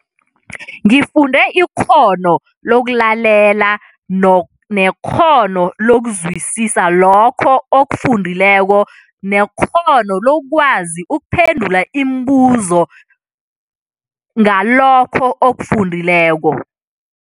Ngifunde ikghono lokulalela nekghono lokuzwisisa lokho okufundileko nekghono lokwazi ukuphendula imibuzo ngalokho okufundileko.